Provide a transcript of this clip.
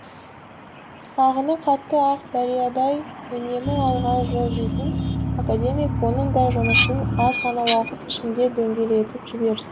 ағыны қатты ақ дариядай үнемі алға жылжитын академик оның да жұмысын аз ғана уақыт ішінде дөңгелетіп жіберді